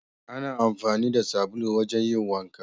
Ana amfani da sabulu wajen yin wanka